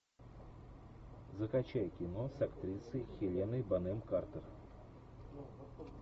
закачай кино с актрисой хеленой бонем картер